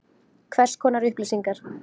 Hvers konar upplýsingar?